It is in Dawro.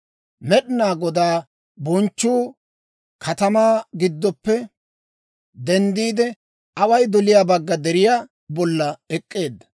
Med'inaa Godaa bonchchuu katamaa giddoppe denddiide, away doliyaa bagga deriyaa bolla ek'k'eedda.